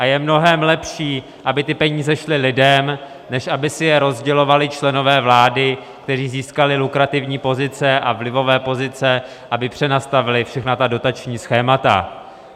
A je mnohem lepší, aby ty peníze šly lidem, než aby si je rozdělovali členové vlády, kteří získali lukrativní pozice a vlivové pozice, aby přenastavili všechna dotační schémata.